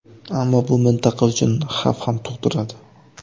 Ammo bu mintaqa uchun xavf ham tug‘diradi.